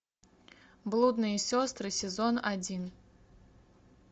блудные сестры сезон один